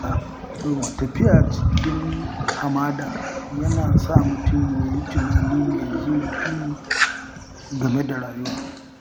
Tafiya a cikin hamada yana sa mutum ya yi tunani mai zurfi game da rayuwa.